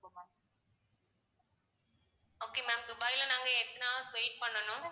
okay ma'am துபாய்ல நாங்க எத்தனை hours wait பண்ணணும்.